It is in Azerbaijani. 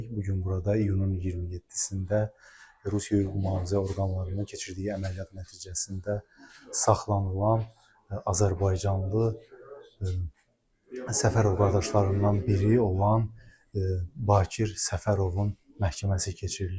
Bu gün burada iyunun 27-də Rusiya hüquq mühafizə orqanlarının keçirdiyi əməliyyat nəticəsində saxlanılan azərbaycanlı Səfərov qardaşlarından biri olan Bakir Səfərovun məhkəməsi keçirilir.